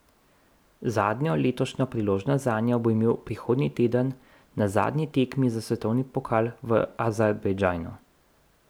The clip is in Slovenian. Zadnjo letošnjo priložnost zanjo bo imel prihodnji teden na zadnji tekmi za svetovni pokal v Azerbajdžanu.